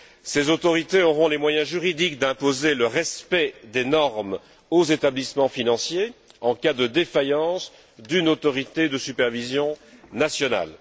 Ces autorités auront les moyens juridiques d'imposer le respect des normes aux établissements financiers en cas de défaillance d'une autorité de supervision nationale.